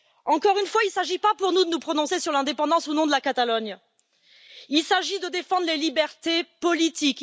Encore une fois, il ne s'agit pas, pour nous, de nous prononcer sur l'indépendance ou non de la Catalogne, il s'agit de défendre les libertés politiques.